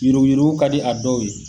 Yuruku yuruku ka di a dɔw ye.